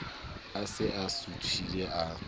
a se a suthile a